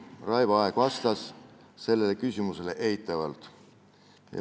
Raivo Aeg vastas sellele küsimusele eitavalt.